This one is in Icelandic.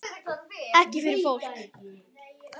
Ekki fyrir fólk?